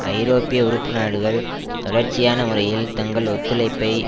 ஐரோப்பிய உறுப்பு நாடுகள் தொடர்ச்சியான முறையில் தங்கள் ஒத்துழைப்பை